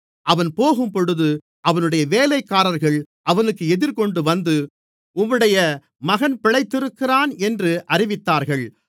அவன் போகும்போது அவனுடைய வேலைக்காரர்கள் அவனுக்கு எதிர்கொண்டுவந்து உம்முடைய மகன் பிழைத்திருக்கிறான் என்று அறிவித்தார்கள்